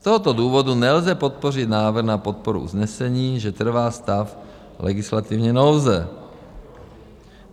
Z tohoto důvodu nelze podpořit návrh na podporu usnesení, že trvá stav legislativní nouze.